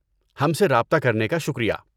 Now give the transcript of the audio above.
ہم سے رابطہ کرنے کا شکریہ.